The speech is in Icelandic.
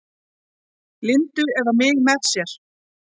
Lindu eða mig með sér.